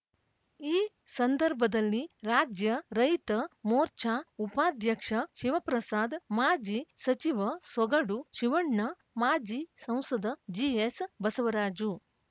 ಈ ಸಂದರ್ಭದಲ್ಲಿ ರಾಜ್ಯ ರೈತ ಮೋರ್ಚಾ ಉಪಾಧ್ಯಕ್ಷ ಶಿವಪ್ರಸಾದ್ ಮಾಜಿ ಸಚಿವ ಸೊಗಡು ಶಿವಣ್ಣ ಮಾಜಿ ಸಂಸದ ಜಿಎಸ್ ಬಸವರಾಜು